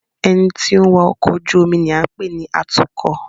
Ẹni tí ó ń wa ọkọ̀ ojú omi ni à ń pè ní Atúkọ̀